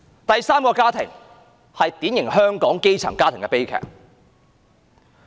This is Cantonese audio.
第三個家庭是典型香港基層家庭的悲劇。